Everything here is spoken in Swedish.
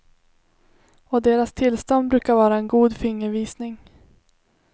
Och deras tillstånd brukar vara en god fingervisning.